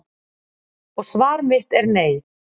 Og svar mitt er nei.